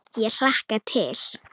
Ég hlakka til.